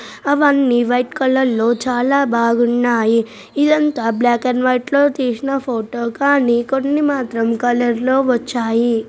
అవి అన్నీ white colour లో చాలా బాగున్నాయి ఇది అంతా బ్లాక్ అండ్ వైట్ లో తీసిన ఫోటో కానీ కొన్ని మాత్రం కలర్ లో వచ్చాయి.